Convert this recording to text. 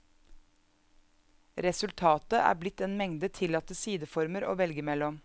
Resultatet er blitt en mengde tillatte sideformer å velge mellom.